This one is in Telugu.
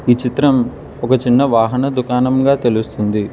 ఈ చిత్రం ఒక చిన్న వాహన దుకాణంగా తెలుస్తుంది.